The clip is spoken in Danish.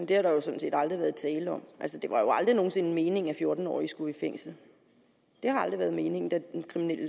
det har der jo sådan set aldrig været tale om altså det var jo aldrig nogen sinde meningen at fjorten årige skulle i fængsel det har aldrig været meningen da den kriminelle